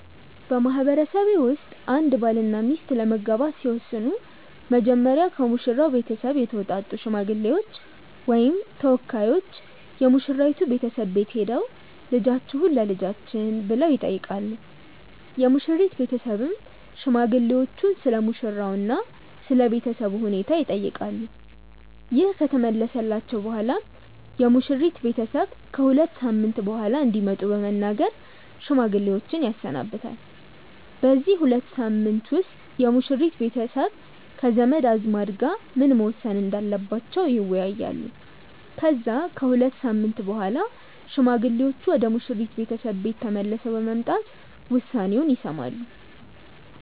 በማህበረሰቤ ውስጥ አንድ ባልና ሚስት ለመጋባት ሲወስኑ መጀመሪያ ከሙሽራው ቤተሰብ የተውጣጡ ሽማግሌዎች ወይም ተወካዮች የሙሽራይቱ ቤተሰብ ቤት ሄደው "ልጃችሁን ለልጃችን" ብለው ይጠይቃሉ። የሙሽሪት ቤተሰብም ሽማግሌዎቹን ስለሙሽራው እና ስለ ቤተሰቡ ሁኔታ ይጠይቃሉ። ይህ ከተመለሰላቸው በኋላም የሙሽሪት ቤተሰብ ከ ሁለት ሳምንት በኋላ እንዲመጡ በመናገር ሽማግሌዎችን ያሰናብታል። በዚህ ሁለት ሳምንት ውስጥ የሙሽሪት ቤተሰብ ከዘመድ አዝማድ ጋር ምን መወሰን እንዳለባቸው ይወያያሉ። ከዛ ከሁለት ሳምንት በኋላ ሽማግሌዎቹ ወደ ሙሽሪት ቤተሰብ ቤት ተመልሰው በመምጣት ውሳኔውን ይሰማሉ።